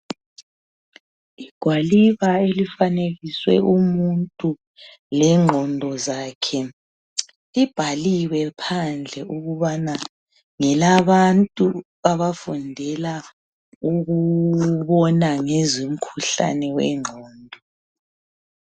Igwaliba elifanekiswe umuntu lengqondo zakhe libhaliwe phandle ukubana ngelabantu abafundela ukubona ngezo mkhuhlane wengqondo.